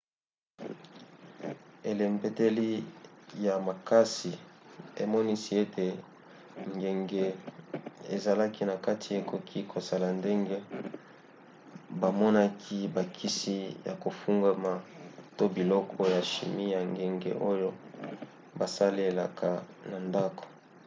elembeteli ya makasi emonisi ete ngenge ezalaki na kati ekoki kozala ndenge bamonaki bakisi ya kofungwama to biloko ya chimie ya ngenge oyo basalelaka na ndako